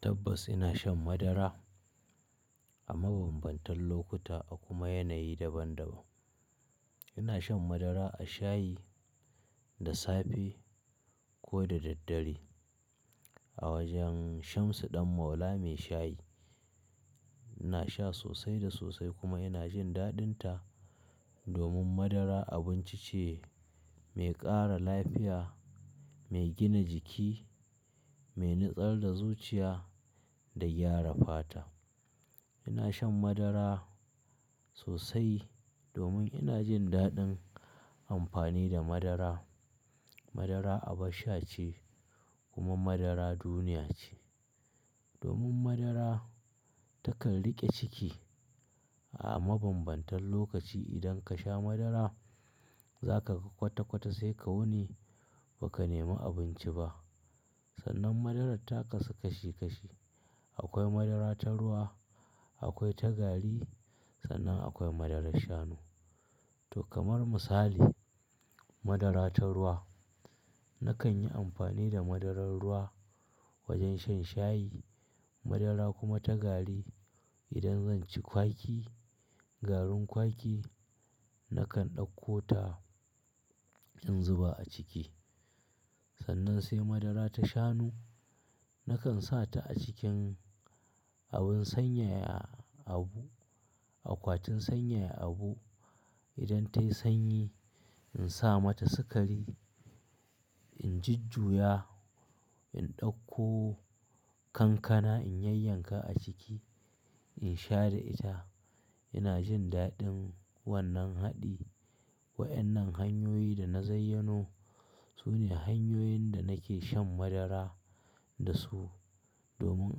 Tabbas ina shan madara a mabambantan lokuta a kuma yanayi daban-daban. Ina shan madara a shayi, da safe ko da daddare. A wajen Shamsu Ɗan Maula Mai Shayi, ina sha sosai da sosai kuma ina jin daɗin ta domin madara abinci ce mai ƙara lafiya, mai gina jiki, mai nutsar da zuciya da gyara fata. Ina shan madara sosai domin ina jin daɗin amfani da madara. Madara abun sha ce kuma madara duniya ce. Domin madara takan riƙe ciki a mabambantan lokaci. Idan ka sha madara za ka ga kwata-kwata sai ka wuni ba ka nemi abinci ba. Sannan madarar ta kasu kashi kashi. Akwai madara ta ruwa, akwai ta gari, sannan akwai madarar shanu. To kamar misali, madara ta ruwa nakan yi amfani da madarar ruwa wajen shan shayi, Madara kuma ta gari idan zan ci kwaki, garin kwaki nakan ɗauko ta in zuba a ciki. Sannan sai madara ta shanu nakan sa ta a cikin abin sanyaya abu, akwatin sanyaya abu. Idan ta yi sanyi in sa mata sukari, in ji juya, in ɗauko kankana, in yayyanka a ciki in sha da ita. Ina jin daɗin wannan haɗi. Waƴannan hanyoyi da na zayyano sune hanyoyin da nake shan madara da su domin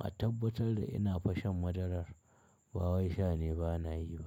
a tabbatar da ina fa shan madarar, ba wai sha ne ba na yi ba.